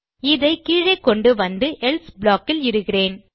இதை கீழே கொண்டு வந்து எல்சே ப்ளாக் இல் இடுகிறேன்